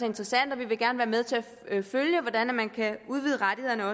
interessant og vi vil gerne være med til at følge hvordan man kan udvide rettighederne